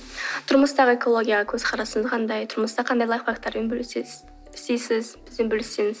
тұрмыстағы экологияға көзқарасыңыз қандай тұрмыста қандай лайфхактармен бөлісесіз бізбен бөліссеңіз